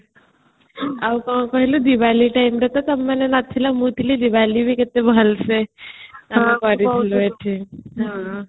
ଆଉ କ'ଣ କହିଲୁ diwali timeରେ ବି ତମେମାନେ ନଥିଲ ମୁଁ ଥିଲି diwali କେତେ ଭଲ ସେ ଆମେ କରିଥିଲୁ ଏଠି ହଁ ତୁ କହୁଥିଲୁ